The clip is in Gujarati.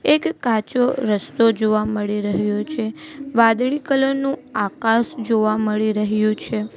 એક કાચો રસ્તો જોવા મળી રહ્યો છે વાદળી કલર નું આકાશ જોવા મળી રહ્યુ છે.